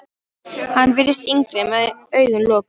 Hann virtist yngri með augun lokuð.